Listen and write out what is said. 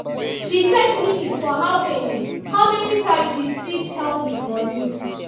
she set limit for how many how many times she fit help with money